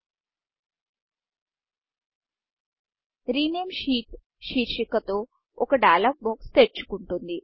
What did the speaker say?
rename sheet rename షీట్శీర్షిక తో ఒక డైలాగ్ బాక్స్ డైయలోగ్ బాక్స్తెరుచుకుంటుంది